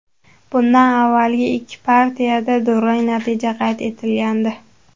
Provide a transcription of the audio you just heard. Bundan avvalgi ikki partiyada durang natija qayd etilgandi .